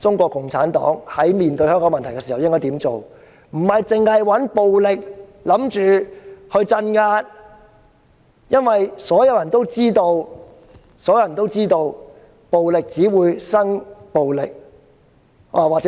探討面對香港的問題時應該怎樣做，而不是單單想到用暴力鎮壓，因為所有人都知道暴力只會產生暴力。